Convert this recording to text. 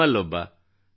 ನಿಮ್ಮಲ್ಲೊಬ್ಬ